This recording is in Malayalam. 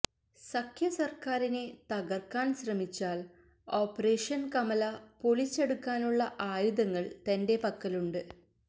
സഖ്യ സര്ക്കാരിനെ തകര്ക്കാന് ശ്രമിച്ചാല് ഓപ്പറേഷന് കമല പൊളിച്ചടുക്കാനുള്ള ആയുധങ്ങള് തന്റെ പക്കലുണ്ട്